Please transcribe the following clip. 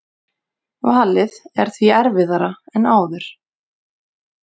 Valið er því erfiðara en áður